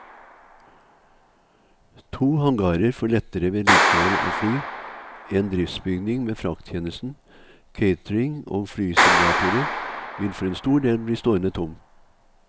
To hangarer for lettere vedlikehold av fly, en driftsbygning med frakttjenesten, catering og flysimulatorer vil for en stor del bli stående tom.